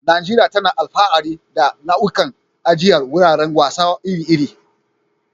Najeriya tana alfahari da nau'ikan ajiyar wuraren wasa iri-iri.